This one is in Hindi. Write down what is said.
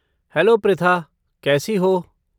हेलो पृथा, कैसी हो?